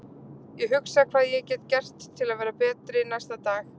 Ég hugsa hvað ég get gert til að verða betri næsta dag.